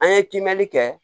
An ye kimɛni kɛ